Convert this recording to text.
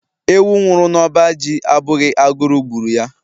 Ewu nwụrụ n'ọba ji abụghị agụrụ gburu ya..